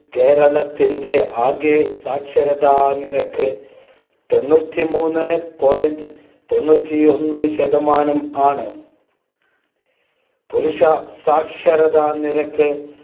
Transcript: കേരളത്തിന്റെ ആകെ സാക്ഷരതാനിരക്ക് തൊണ്ണൂറ്റിമൂന്നു point തൊണ്ണൂറ്റിഒന്ന് ശതമാനം ആണ്. പുരുഷസാക്ഷരതാനിരക്ക്